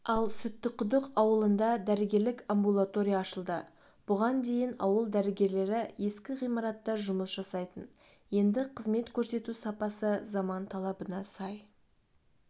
ал сүттіқұдық ауылында дәрігерлік амбулатория ашылды бұған дейін ауыл дәрігерлері ескі ғимаратта жұмыс жасайтын енді қызмет көрсету сапасы заман талабына сай